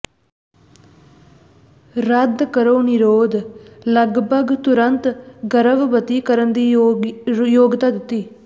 ਰੱਦ ਕਰੋ ਿਨਰੋਧ ਲਗਭਗ ਤੁਰੰਤ ਗਰਭਵਤੀ ਕਰਨ ਦੀ ਯੋਗਤਾ ਦਿੰਦਾ ਹੈ